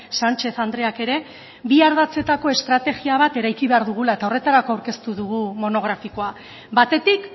sanchez andreak ere bihar ardatzetako estrategia bat eraiki behar dugula eta horretarako aurkeztu dugu monografikoa batetik